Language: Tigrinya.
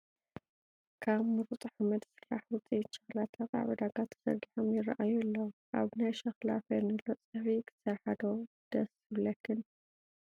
ካብ ሙሩፅ ሓመድ ዝስራሕ ውፅኢት ሸክላታት ኣብ ዕዳጋ ተዘርጊሖም ይራኣዩ ኣለው፡፡ ኣብ ናይ ሸኽላ ፌርኔሎ ፀብሒ ክትሰርሓ ዶ ደስ ይብለክን?